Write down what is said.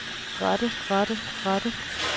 rette rette rette